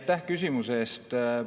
Aitäh küsimuse eest!